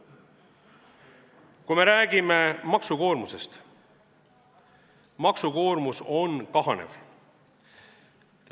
Kui me räägime maksukoormusest, siis maksukoormus on kahanev.